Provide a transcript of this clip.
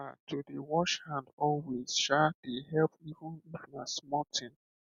um to dey wash hand always um dey help even if na small thing